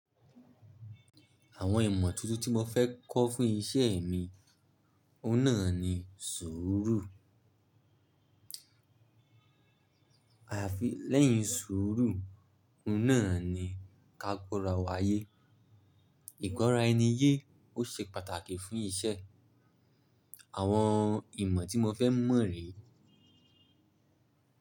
Àwọn ìmọ̀ tuntun tí mo fẹ́ kọ́ fún iṣẹ́ mi, ọ́un nàa ni sùúrù. Àfi lẹ́yìn sùúrù, ọ́un naà ni ká gbọ́ra wá yé. Ìgbọ́ra ẹni ye ó ṣe pàtàkì fún iṣẹ́. Àwọn ìmọ̀ tí mo fẹ́ mọ̀ rè.